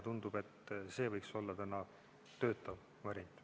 Tundub, et see võiks olla töötav variant.